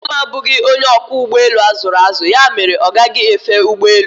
Ee e, mama m abụghị onye ọkwọ ụgbọelu a zụrụ azụ ya mere ọ gaghi efe ụgbọelu